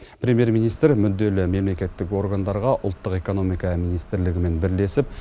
премьер министр мүдделі мемлекеттік органдарға ұлттық экономика министрлігімен бірлесіп